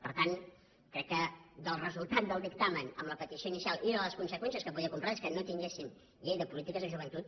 per tant crec que del resultat del dictamen amb la petició inicial i de les conseqüències que podia comportar que és que no tinguéssim llei de polítiques de joventut